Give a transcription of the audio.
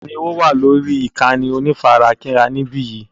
Ta ni ó wà lórí ìkànnì onífarakínra níbí yìí?